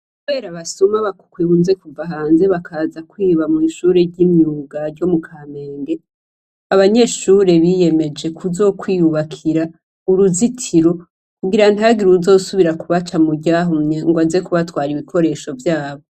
Kubera abasuma bakunze kuva hanze bakaza kwiba mwishure ry'imyuga ryo mukamenge, abanyeshure biyemeje kuzokwiyubakira uruzitiro kugira ntihagire uwuzosubira kubaca muryahumye ngo aze kubatwara ibikoresho vyabo.